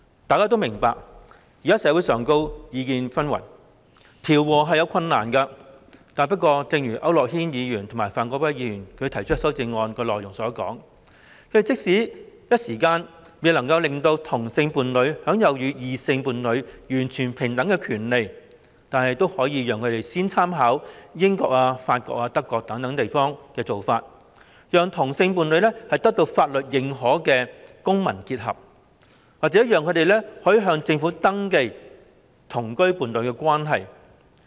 大家都明白現時社會上意見紛紜，調和確有困難，但正如區諾軒議員及范國威議員提出的修正案內容所指，即使未能於短時間內讓同性伴侶享有與異性伴侶完全平等的權利，但也可以先參考英國、法國、德國等地的做法，讓同性伴侶得到法律認可的公民結合機會，又或讓他們向政府登記同居伴侶關係。